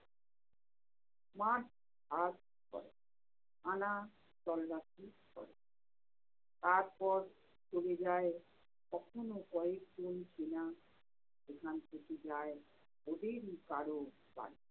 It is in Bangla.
march-past করে। খানাতল্লাসি করে। তারপর চলে যায় কখনও কয়েক গুণ চেনা। এখান থেকে যায় ওদেরই কারও বাড়িতে।